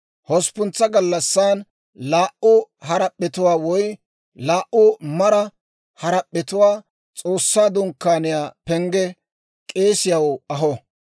Hosppuntsa gallassan laa"u harap'p'etuwaa woy laa"u mara harap'p'etuwaa S'oossaa Dunkkaaniyaa pengge K'eesiyaw aho.